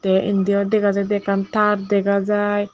te indi yo dega jaidy ekkan tad dega jai.